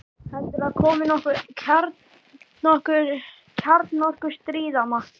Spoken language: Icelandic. Heldurðu að komi nokkuð kjarnorku- stríð, amma?